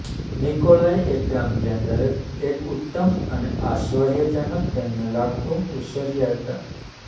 Nikolai એક ગામ જ્યાં દરેક એક ઉત્તમ અને આશ્ચર્યજનક તેમને લાગતું ઉછર્યા હતા